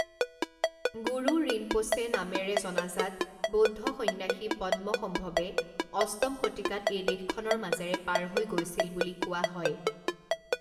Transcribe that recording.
গুৰু ৰিনপোচে নামেৰে জনাজাত বৌদ্ধ সন্ন্যাসী পদ্মসম্ভৱে অষ্টম শতিকাত এই দেশখনৰ মাজেৰে পাৰ হৈ গৈছিল বুলি কোৱা হয়।